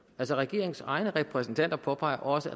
altså regeringens egne repræsentanter påpeger også